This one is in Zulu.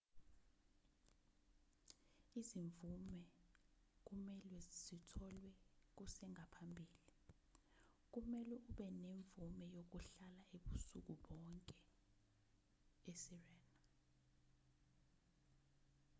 izimvume kumelwe zitholwe kusengaphambili kumelwe ube nemvume yokuhlala ubusuku bonke esirena